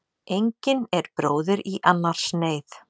Engin er bróðir í annars neyð.